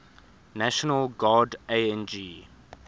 national guard ang